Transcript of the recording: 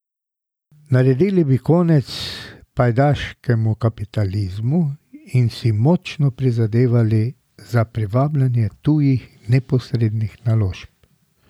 Naredili bi konec pajdaškemu kapitalizmu in si močno prizadevali za privabljanje tujih neposrednih naložb.